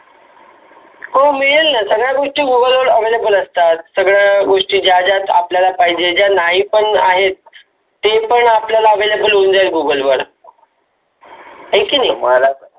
हो मेलेल न सगळ गोष्टी google वर Available असतात. ज्या ज्या गोष्टी आपल्याला पाहिजे ज्या नाही पण आहेत त्या आपल्याला Available होऊन जाईल. google वर वर हाय की नाही?